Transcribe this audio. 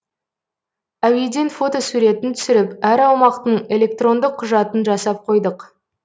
әуеден фотосуретін түсіріп әр аумақтың электрондық құжатын жасап қойдық